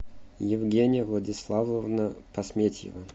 евгения владиславовна посметьева